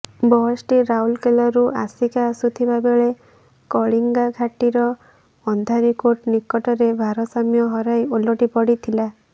ବସ୍ଟି ରାଉରକେଲାରୁ ଆସିକା ଆସୁଥିବାବେଳେ କଳିଙ୍ଗାଘାଟିର ଅନ୍ଧାରିକୋଟ ନିକଟରେ ଭାରସାମ୍ୟ ହରାଇ ଓଲଟି ପଡିଥିଲା